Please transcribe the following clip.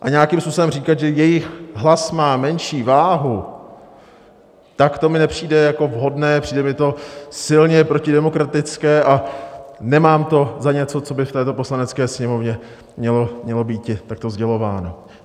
A nějakým způsobem říkat, že jejich hlas má menší váhu, tak to mi nepřijde jako vhodné, přijde mi to silně protidemokratické a nemám to za něco, co by v této Poslanecké sněmovně mělo býti takto sdělováno.